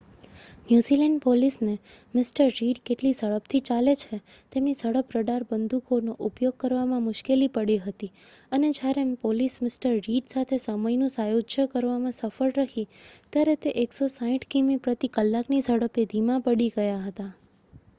New Zealand પોલીસને Mr. Reed કેટલી ઝડપથી ચાલે છે તેમની ઝડપ રડાર બંદૂકોનો ઉપયોગ કરવામાં મુશ્કેલી પડી હતી અને જ્યારે પોલીસ મિ. રિડ સાથે સમયનું સાયુજ્ય કરવામાં સફળ રહી ત્યારે તે 160કિમી/ક ની ઝડપે ધીમાં પડી ગયા હતા